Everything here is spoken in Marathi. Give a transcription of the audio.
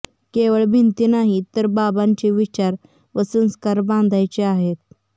केवळ भिंती नाही तर बाबांचे विचार व संस्कार बांधायचे आहेत